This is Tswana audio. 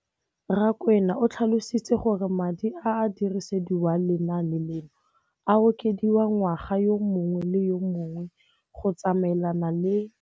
Rakwena o tlhalositse gore madi a a dirisediwang lenaane leno a okediwa ngwaga yo mongwe le yo mongwe go tsamaelana le.